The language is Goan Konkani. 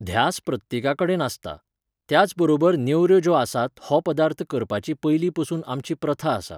ध्यास प्रत्येकाकडेन आसता. त्याच बरोबर नेवऱ्यो ज्यो आसात हो पदार्थ करपाची पयलीं पसून आमची प्रथा आसा